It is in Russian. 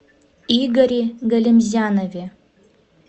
игоре галимзянове